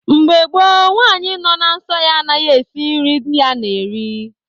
Mgbe gboo, nwanyị nọ na nsọ ya anaghị esi eri nri di ya na-eri.